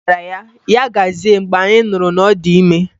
Anyị gwara ya, Ya gazie mgbe anyị nụrụ na ọ dị ime